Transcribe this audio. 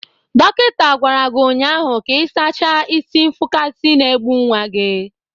Dọkịta gwara gị ụnyahụ ka ị sachaa isi nfụkasị na-egbu nwa gị